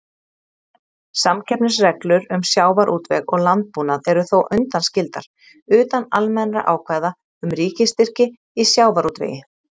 Samkeppnisreglur um sjávarútveg og landbúnað eru þó undanskildar, utan almennra ákvæða um ríkisstyrki í sjávarútvegi.